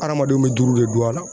Adamadenw mɛ duuru de don a la